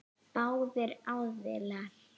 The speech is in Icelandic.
Báðir aðilar.